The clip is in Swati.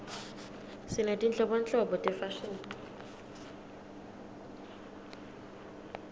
sinetinhlobonhlobo tefashini